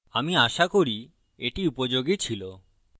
আমি আশা করি এটি উপযোগী ছিল